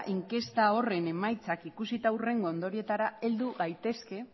inkesta horren emaitzak ikusita hurrengo ondorioetara heldu gaitezke